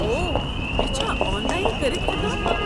اوہ، یہِ چھا آن لاین کٔرِتھ ہیٚکان ؟